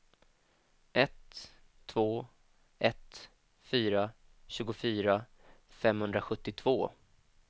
ett två ett fyra tjugofyra femhundrasjuttiotvå